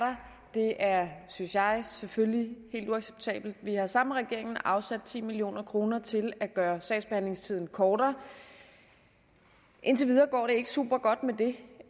synes jeg selvfølgelig helt uacceptabelt vi har sammen med regeringen afsat ti million kroner til at gøre sagsbehandlingstiden kortere indtil videre går det ikke supergodt med det